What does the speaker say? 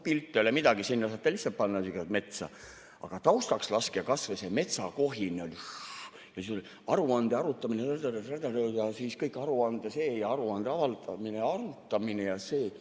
Pilt ei ole midagi, sinna saate lihtsalt panna metsa, aga taustaks laske kas või seda metsakohinat, šš-šš, aruande arutamine, ta-ta-ta, ta-ta-ta, ja siis kõik aruande see ja aruande avaldamine ja arutamine ja see.